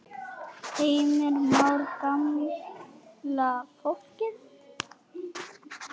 Heimir Már: Gamla fólkið?